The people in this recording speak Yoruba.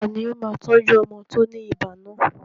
Tani ó máa tọ́jú ọmọ tó ní ibà náà?